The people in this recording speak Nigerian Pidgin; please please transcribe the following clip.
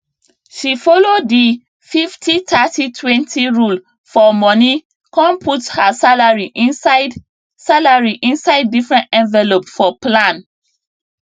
she follow di 503020 rule for money come put her salary inside salary inside different envelope for plan